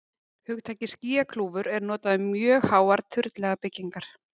Hugtakið skýjakljúfur er notað um mjög háar turnlaga byggingar.